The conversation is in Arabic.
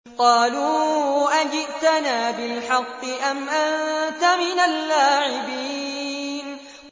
قَالُوا أَجِئْتَنَا بِالْحَقِّ أَمْ أَنتَ مِنَ اللَّاعِبِينَ